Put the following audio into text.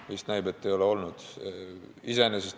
Vist näib, et ei ole olnud.